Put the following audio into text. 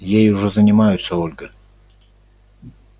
ей уже занимаются ольга